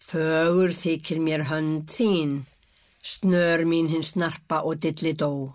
fögur þykir mér hönd þín snör mín hin snarpa og